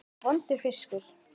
Vondur fiskur.